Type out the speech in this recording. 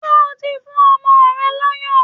Ṣé o ti fún ọmọ rẹ lọ́yàn?